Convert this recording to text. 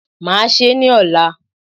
Màá se ní òla